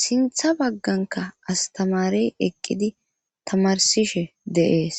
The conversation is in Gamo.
sintha bagganka astamarey eqqidi tamarsishe de7ees.